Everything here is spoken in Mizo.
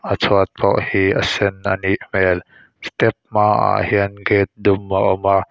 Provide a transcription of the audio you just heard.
a chhuat pawh hi a sen a nih hmel step hmaah hian gate dum a awm a.